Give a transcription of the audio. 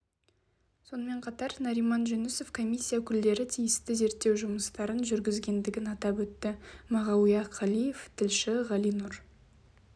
сонымен қатар нариман жүнісов комиссия өкілдері тиісті зерттеу жұмыстарын жүргізгендігін атап өтті мағауия қалиев тілші ғалинұр